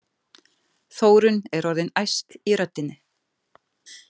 Þórunn er orðin æst í röddinni.